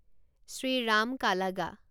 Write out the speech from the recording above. Shriram কালাগা